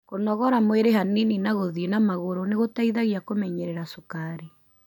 Kũnogorgua mwĩri hanini na gũthĩi na magũru nĩgũteithagia kũmenyerera cukari.